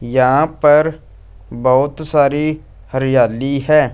यहां पर बहुत सारी हरियाली हैं।